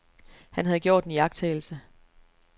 Han havde gjort en iagttagelse.